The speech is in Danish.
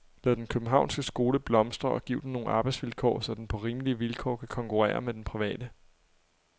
Lad den københavnske skole blomstre, og giv den nogle arbejdsvilkår, så den på rimelige vilkår kan konkurrere med den private.